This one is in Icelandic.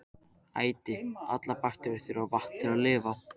Æti: allar bakteríur þurfa vatn til að lifa.